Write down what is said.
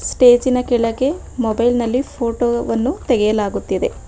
ಸ್ಟೇಜಿನ ಕೆಳಗೆ ಮೊಬೈಲ್ ನಲ್ಲಿ ಫೋಟೋ ವನ್ನು ತೆಗೆಯಲಾಗುತ್ತಿದೆ.